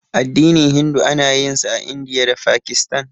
Addinin Hindu ana yin sa a Indiya da Fakistan.